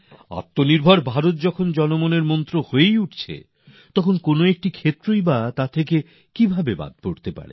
আত্মনির্ভর ভারত যখন জনমনের মন্ত্র হয়েই যাচ্ছে তখন যে কোনও ক্ষেত্রেই বা আমরা এর থেকে কি করে পি পিছনে পরে থাকতে পারি